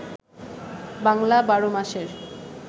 বাংলা ১২ মাসের